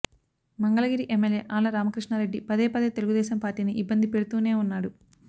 Mangalagiri MLA Alla Ramakrishna Reddy పదే పదే తెలుగు దేశం పార్టీని ఇబ్బంది పెడుతూనే ఉన్నాడు